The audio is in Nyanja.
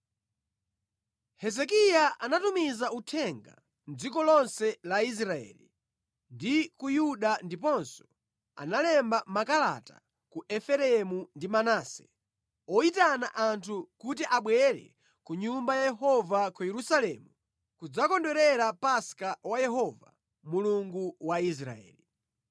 Hezekiya anatumiza uthenga mʼdziko lonse la Israeli ndi ku Yuda ndiponso analemba makalata ku Efereimu ndi Manase, oyitana anthu kuti abwere ku Nyumba ya Yehova ku Yerusalemu kudzakondwerera Paska wa Yehova, Mulungu wa Israeli.